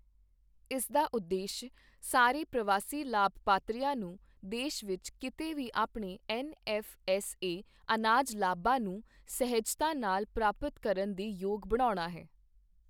ਇਸਦਾ ਉਦੇਸ਼ ਸਾਰੇ ਪ੍ਰਵਾਸੀ ਲਾਭਪਾਤਰੀਆਂ ਨੂੰ ਦੇਸ਼ ਵਿੱਚ ਕੀਤੇ ਵੀ ਆਪਣੇ ਐਨਐੱਫ਼ਐੱਸਏ ਅਨਾਜ ਲਾਭਾਂ ਨੂੰ ਸਹਿਜਤਾ ਨਾਲ ਪ੍ਰਾਪਤ ਕਰਨ ਦੇ ਯੋਗ ਬਣਾਉਣਾ ਹੈ।